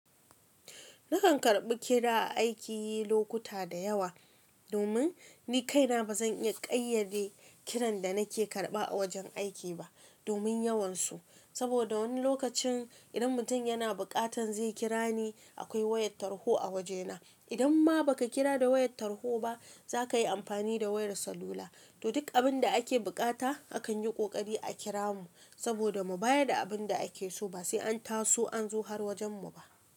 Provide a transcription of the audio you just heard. Nakan karɓi kira aiki lokuta da yawa domin ni kaina ba zan iya ƙayyade kiran da nake karɓa a wajen aiki ba domin yawansu. Saboda wani lokacin idan mutum yana buƙatan zai kira ni akwai wayar tarho a wajena. Idan ma ba ka kira da wayar tarho ba za ka yi amfani da wayar salula. To duk abin da ake buƙata akan yi ƙoƙari a kira mu saboda mu bayar da abin da ake so ba sai an taso an zo har wajen mu ba.